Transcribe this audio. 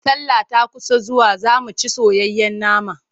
Sallah ta kusa zuwa za mu ci soyayyen nama.